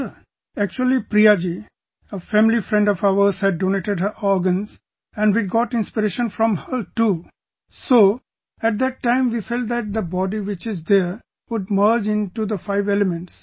Sir, actually Priya ji, a family friend of ours had donated her organs and we got inspiration from her too...so at that time we felt that the body which is there would merge into the five elements